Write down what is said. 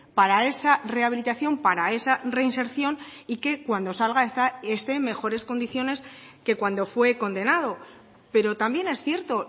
para esa rehabilitación para esa reinserción y que cuando salga esté en mejores condiciones que cuando fue condenado pero también es cierto